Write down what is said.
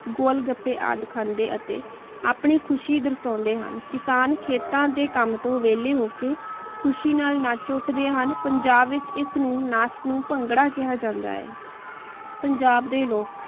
ਗੋਲ ਗੱਪੀ ਆਂ ਖੰਡੇ ਅਤੀ ਆਪਣੀ ਖੁਸ਼ੀ ਦਾਰ੍ਸ਼ਾਨ੍ਡੇ ਹਨ ਕਿਸਾਨ ਖੀਤਾਂ ਦੇ ਕਾਮ ਤੋਂ ਵੀਲਾਯ ਹੋ ਕੇ ਖੁਸ਼੍ਹੋ ਖੁਸ਼ੀ ਨਾਲ ਨਾਚ ਉਠਦੇ ਹਨ ਪੰਜਾਬ ਵਿਚ ਏਸ ਨਾਚ ਨੂ ਭੰਗੜਾ ਕੇਹਾ ਜਾਂਦਾ ਹੈ